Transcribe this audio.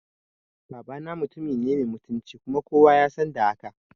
Babana mutumine mai mutunci kuma kowa yasan da haka